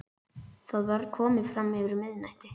Það var komið fram yfir miðnætti.